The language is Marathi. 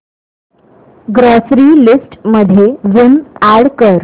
ग्रॉसरी लिस्ट मध्ये विम अॅड कर